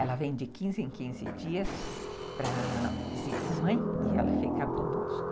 Ela vem de quinze em quinze dias para visitar a mãe e ela fica conosco.